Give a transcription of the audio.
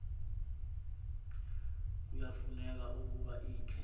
kuyafuneka ukuba ikhe